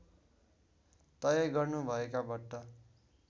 तय गर्नुभएका भट्ट